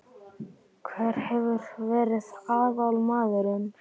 Hver hefur verið aðalmaðurinn?